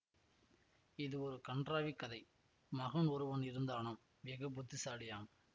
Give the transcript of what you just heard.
இது ஒரு கண்றாவிக் கதை மகன் ஒருவன் இருந்தானாம் வெகு புத்திசாலியாம்